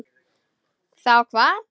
Þá hvað?